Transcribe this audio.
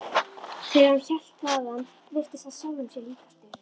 Þegar hann hélt þaðan virtist hann sjálfum sér líkastur.